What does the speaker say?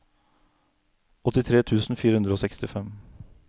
åttitre tusen fire hundre og sekstifem